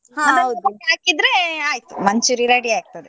ಹಾಕಿದ್ರೆ ಆಯ್ತು manchuri~ ready ಆಗ್ತದೆ.